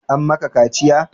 An ma ka kaciya?